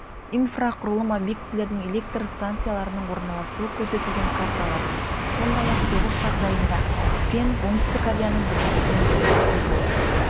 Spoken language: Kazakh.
инфрақұрылым объектілерінің электр станцияларының орналасуы көрсетілген карталар сондай-ақ соғыс жағдайында пен оңтүстік кореяның бірлескен іс-қимыл